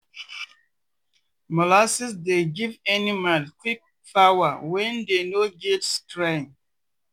molasses dey give animals quick power when dey no get strength.